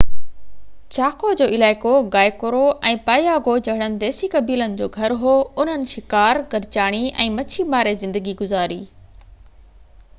چاڪو جو علائقو Guaycuru ۽ Payagua جهڙن ديسي قبيلن جو گهر هو انهن شڪار گڏجاڻي ۽ مڇي ماري زندگي گذاري